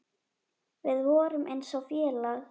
Við vorum eins og félag.